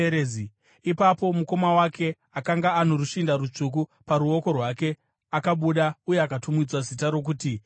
Ipapo mukoma wake akanga ano rushinda rutsvuku paruoko rwake, akabuda uye akatumidzwa zita rokuti Zera.